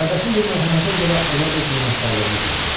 Qardaşım bu mərhəmətə görə ona öz minnətdarlığını bildirir.